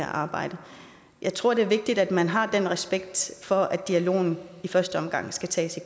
arbejde jeg tror det er vigtigt at man har respekt for at dialogen i første omgang skal tages